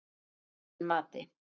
Að eigin mati.